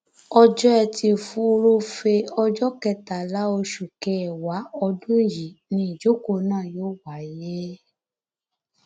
ọjọ etí furuufee ọjọ kẹtàlá oṣù kẹwàá ọdún yìí ni ìjókòó náà yóò wáyé